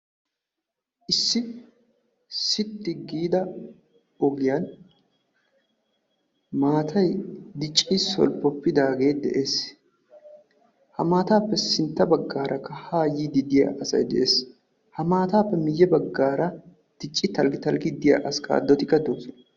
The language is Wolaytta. Issi sitti giida ogiyaan maatay dicci solppopidagee de'ees. ha maataappe sintta baggaara haa yiddi diyaa asay de'ees. ha maataappe miye baggaara dicci talggi talggiyaa diyaa askaadotikka doosona.